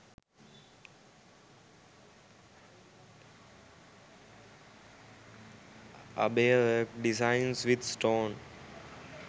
abaya work designs with stone